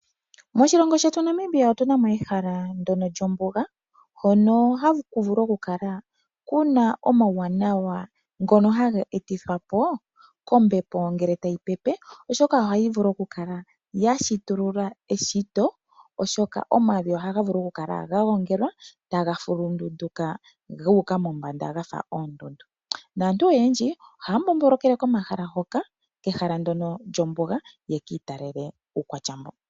Moshilongo shetu Namibia otuna mo ehala ndono lyombuga. Hono haku vulu okukala kuna omauwanawa ngono haga etithwa po kombepo ngele tayi pepe , oshoka ohayi vulu kukala yashitulula eshito. Omavi ohaga vulu kukala gagongelwa taga fulundunduka guuka mombanda gafa oondundu. Aantu oyendji ohaya mbombolokele kehala ndjono lyombuga yekiitalele iikwatya mboka.